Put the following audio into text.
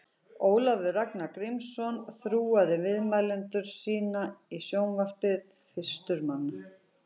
Ólafur Ragnar Grímsson þúaði viðmælendur sína í sjónvarpi fyrstur manna.